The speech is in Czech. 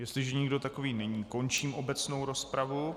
Jestliže nikdo takový není, končím obecnou rozpravu.